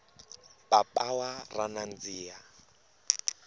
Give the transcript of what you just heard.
papawa ra nandziha